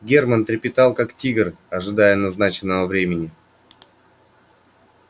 германн трепетал как тигр ожидая назначенного времени